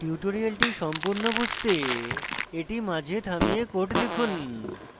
tutorial সম্পূর্ণ বুঝতে এটি মাঝে থামিয়ে code লিখুন